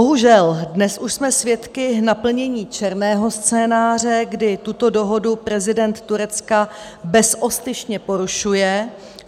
Bohužel dnes už jsme svědky naplnění černého scénáře, kdy tuto dohodu prezident Turecka bezostyšně porušuje.